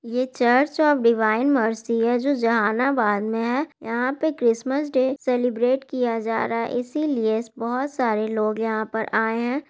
ये church of divine mercy है जो जहानाबाद में है। यहां पे क्रिसमस डे सेलिब्रेट किया जा रहा है इसीलिए बहोत सारे लोग यहां पर आए हैं।